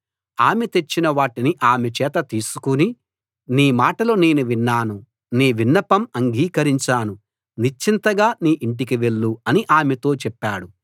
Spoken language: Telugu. ఆమె తెచ్చిన వాటిని ఆమె చేత తీసుకు నీ మాటలు నేను విన్నాను నీ విన్నపం అంగీకరించాను నిశ్చింతగా నీ ఇంటికి వెళ్ళు అని ఆమెతో చెప్పాడు